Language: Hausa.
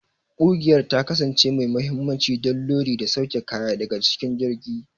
Ƙugiyar ta kasance mai mahimmanci don lodi da sauke kaya daga cikin jirgin.